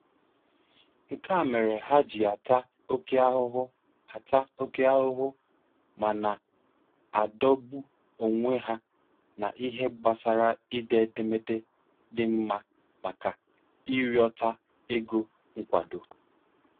Nke a mere ha ji ata oke ahụhụ ata oke ahụhụ ma na-adọgbu onwe ha n'ihe gbasara ide edemede dị mma maka ịrịọta ego nkwado.